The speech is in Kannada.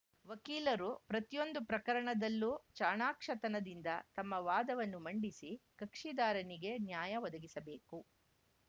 ವಕೀಲರು ಪ್ರತಿಯೊಂದು ಪ್ರಕರಣದಲ್ಲೂ ಚಾಣಾಕ್ಷತನದಿಂದ ತಮ್ಮ ವಾದವನ್ನು ಮಂಡಿಸಿ ಕಕ್ಷಿದಾರನಿಗೆ ನ್ಯಾಯ ಒದಗಿಸಬೇಕು